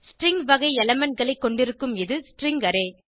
string வகை elementகளை கொண்டிருக்கும் இது ஸ்ட்ரிங் அரே